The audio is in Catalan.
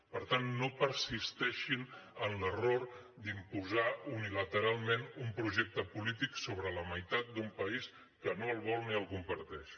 per tant no persisteixin en l’error d’imposar unilateralment un projecte polític sobre la meitat d’un país que no el vol ni el comparteix